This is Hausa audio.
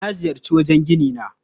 Na ziyarci wurin ginina.